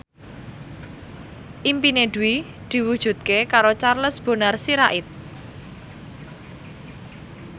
impine Dwi diwujudke karo Charles Bonar Sirait